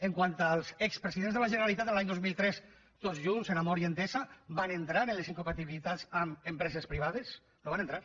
pel que fa als expresidents de la generalitat de l’any dos mil tres tots junts amb amor i entesa van entrar en les incompatibilitats amb empreses privades no hi van entrar